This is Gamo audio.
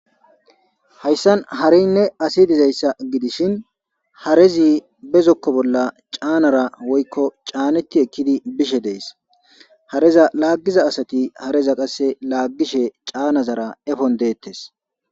hayssan harinne asi dizayssa gidishin harezi bezokko bolla caanara woykko caanetti ekkidi bishe dees hareza laaggiza asati hareza qasse laaggishe caanazara efon deettes